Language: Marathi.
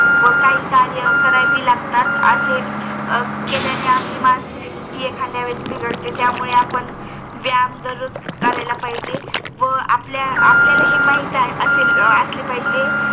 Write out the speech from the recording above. व काही कार्य करावी लागतात असे केल्या ने आपली मानसिक ष्ठती एखाद्या वेळेस बिघडते त्यामुळे आपण व्यायाम दररोज करायला पाहिजे आपल्याला हे माहित आहे असे असले पाहिजे